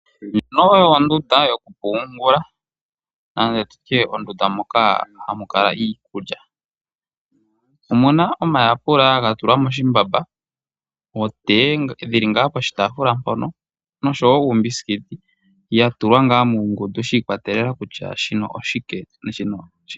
Ndjino oyo ondunda yokupungula nenge tutye mondunda moka hamu kala iikulya. Omuna omayapula ga tulwa moshimbamba, otee dhili ngaa poshitafula mpono noshowo uukuki, ya tulwa ngaa muungundu shi ikwatelela kutya shino oshike na shino oshike.